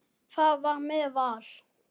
Það var með Val.